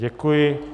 Děkuji.